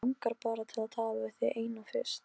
Ástrós, hvað er lengi opið í Listasafninu?